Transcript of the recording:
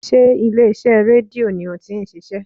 Sé ilé iṣẹ́ rédíò ni o ti n ṣiṣé?